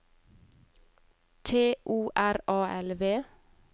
T O R A L V